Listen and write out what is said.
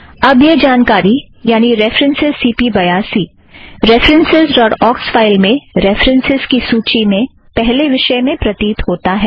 अब यह जानकारी यानि रेफ़रन्स सी पी बयासी रेफ़रन्सस् ड़ॉट ऑक्स फ़ाइल में रेफ़रन्स की सूची में पहले विषय में प्रतीत होता है